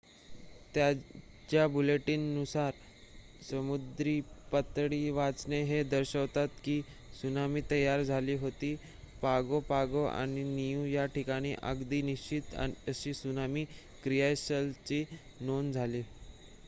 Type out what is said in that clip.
ताज्या बुलेटीन नुसार समुद्र पातळी वाचने हे दर्शवतात की त्सुनामी तयार झाली होती पागो पागो आणि नियू या ठिकाणी अगदी निश्चित अशी त्सुनामी क्रियाशीलतेची नोंद झाली